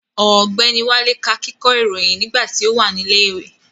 Ọ̀gbẹ́ni Wálé ká kíkọ́ ìròyìn nígbà tí ó wà ní ilẹ̀ ìwé